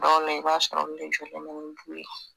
Ɔn nɛ i b'a sɔrɔ n be jugu ma ni du ye